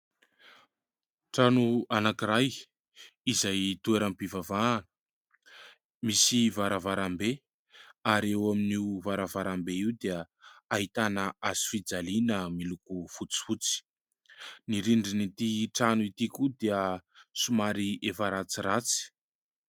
Trano anakiray izay toeram-pivavahana misy varavaram-be , ary eo amin'io varavaram-be io dia ahitana hazo fijaliana miloko fotsifotsy, ny rindrin'ity trano ity koa dia somary efa ratsiratsy.